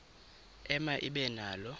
ema ibe nalo